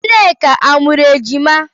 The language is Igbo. Nneka amụrụ ejima?